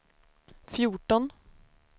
fjorton